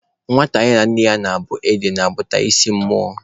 Nwata ya na nne ya na-abụ ede na-abụta isi mmụọ